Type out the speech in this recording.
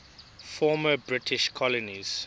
former british colonies